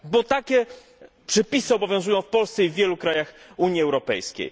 Bo takie przepisy obowiązują w Polsce i w wielu krajach Unii Europejskiej.